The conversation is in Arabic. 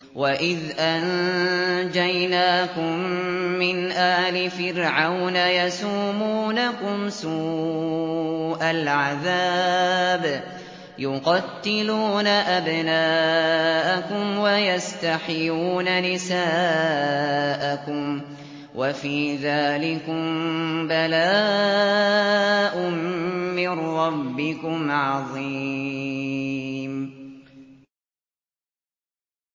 وَإِذْ أَنجَيْنَاكُم مِّنْ آلِ فِرْعَوْنَ يَسُومُونَكُمْ سُوءَ الْعَذَابِ ۖ يُقَتِّلُونَ أَبْنَاءَكُمْ وَيَسْتَحْيُونَ نِسَاءَكُمْ ۚ وَفِي ذَٰلِكُم بَلَاءٌ مِّن رَّبِّكُمْ عَظِيمٌ